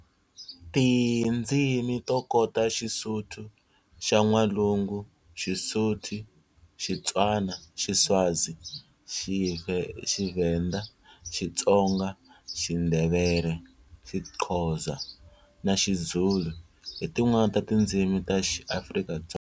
Tindzimi to kota Xisuthu xa N'walungu, Xisuthu, Xitswana, Xiswazi, Xivhenda, Xitsonga, Xindhevele, Xiqhoza na Xizulu hi tin'wana ta tindzimi ta XiAfrika-Dzonga.